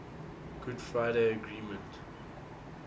good friday agreement